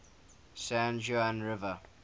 san juan river